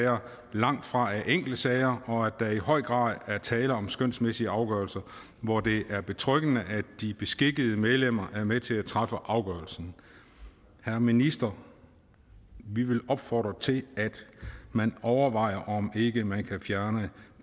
langtfra er enkeltsager og at der i høj grad er tale om skønsmæssige afgørelser hvor det er betryggende at de beskikkede medlemmer er med til at træffe afgørelsen herre minister vi vil opfordre til at man overvejer om ikke man kan fjerne